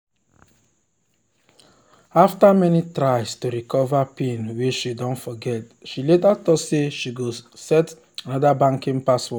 after many tries to recover pin wen she don forget she later talk say she go set anodr banking password